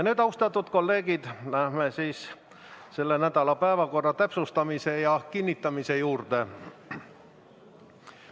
Nüüd, austatud kolleegid, läheme selle nädala päevakorra täpsustamise ja kinnitamise juurde.